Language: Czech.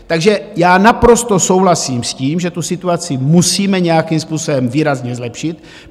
Takže já naprosto souhlasím s tím, že tu situaci musíme nějakým způsobem výrazně zlepšit.